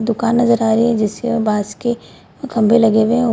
दुकान नजर आ रही है जिसके बास की खंबे हुए हैं। --